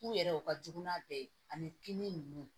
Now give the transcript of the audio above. U yɛrɛ u ka jugu n'a bɛɛ ye ani kinni nunnu